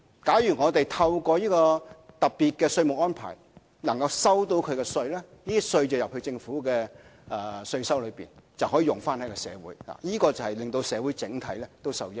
假如透過這個特別的稅務安排能夠收到稅款，這些稅款進入政府稅收，就可以用於社會，使社會整體受益。